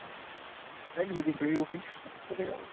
দেখ যদি পেরে উঠিস, চলে যাবো।